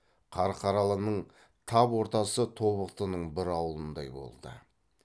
қарқаралының тап ортасы тобықтының бір аулындай болды